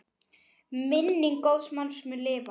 Minning góðs manns mun lifa.